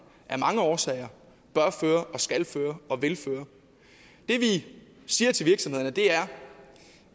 af mange årsager bør føre og skal føre og vil føre det vi siger til virksomhederne er